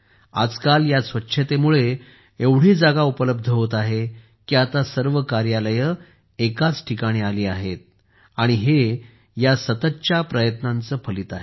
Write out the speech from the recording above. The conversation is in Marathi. आजकाल या स्वच्छतेमुळे एवढी जागा उपलब्ध होत आहे की आता सर्व कार्यालये एकाच आली आहेत हे या सततच्या प्रयत्नांचे फलित आहे